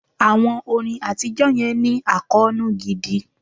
Àwọn orin àtijọ́ yẹn ní àkóónú gidi.